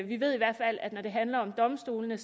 vi ved i hvert fald at når det handler om domstolene